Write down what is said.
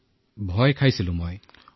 মোৰ বাবে এয়া অলপ ভয় লগা বিধৰ আছিল